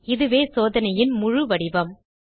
இதுவே சோதனையின் முழு வடிவம்